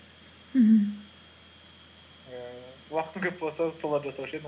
мхм ііі уақытым көп болса соларды жасаушы едім